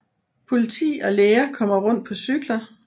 Politi og læger kommer rundt på cykler